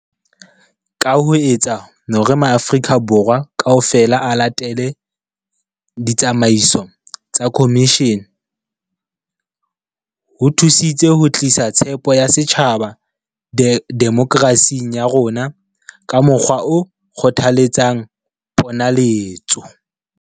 Ka ho etsa hore maAfri-ka Borwa kaofela a latele ditsamaiso tsa khomishene, ho thusitse ho tlisa tshepo ya setjhaba demoke rasing ya rona ka mokgwa o kgothaletsang ponaletso.